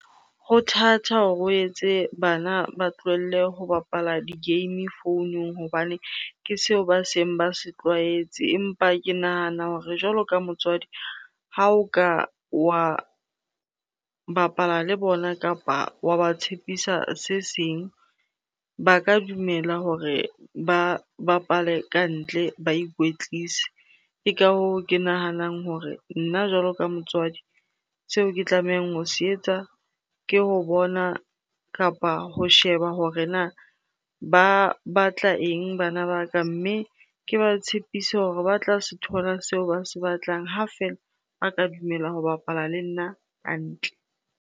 Ho thata hore o etse bana ba tlohelle ho bapala di-game founung hobane ke seo ba seng ba se tlwaetse. Empa ke nahana hore jwalo ka motswadi, ha o ka wa bapala le bona kapa wa ba tshepisa se seng ba ka dumela hore ba bapale ka ntle ba ikwetlise. Ke ka hoo ke nahanang hore nna jwalo ka motswadi, seo ke tlamehang ho se etsa ke ho bona kapa ho sheba hore na ba batla eng bana ba ka? Mme ke ba tshepise hore ba tla se thola seo ba se batlang ha feela ba ka dumela ho bapala le nna ka ntle.